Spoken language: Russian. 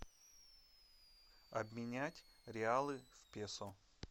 обменять реалы в песо